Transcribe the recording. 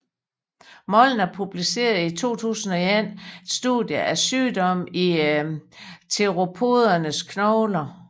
Molnar publicerede i 2001 et studie af sygdomme i theropodernes knogler